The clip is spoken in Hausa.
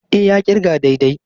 E, ya ƙirga daidai.